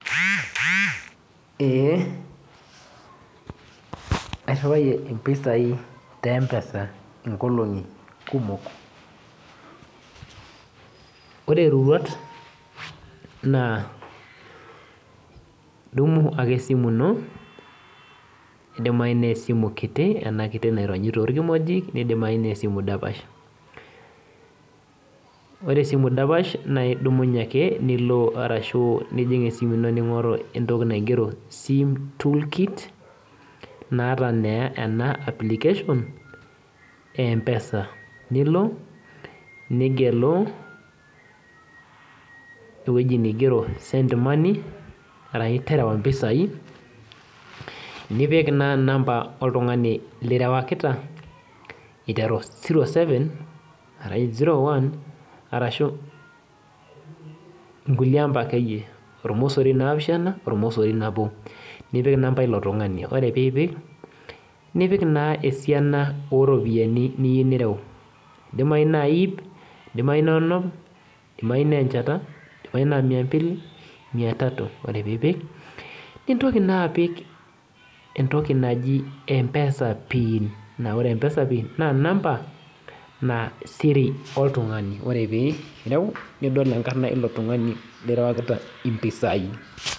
Ee, airriwayie impisai te M-PESA inkolong'i kumok. Ore roruat naa, dumu ake esimu ino, nidimayu nesimu kiti enakiti naironyi torkimojik, nidimayu nesimu dapash. Ore esimu dapash na idumnye ake nilo arashu nijing' esimu ino ning'oru entoki naigero sim toolkit, naata naa ena application ,e M-PESA. Nilo nigelu ewoji nigero send money, arashu terewa mpisai, nipik naa namba oltung'ani lirewakita, iteru zero seven, arashu zero one, arashu inkulie amba akeyie. Ormosori naapishana, ormosori nabo. Nipik inamba ilo tung'ani, ore pipik, nipik naa esiana oropiyiani niu nireu. Idimayu na ip, idimayu na onom, idimayu nenchata, idimayu na mia mbili, mia tatu. Ore pipik, nintoki naapik entoki naji M-PESA pin. Na ore M-PESA pin ,na siri oltung'ani. Ore pireu, nidol enkarna ilo tung'ani lirewakita impisai.